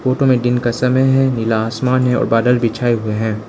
Photo में दिन का समय है नीला आसमान है और बादल के छाए हुए हैं।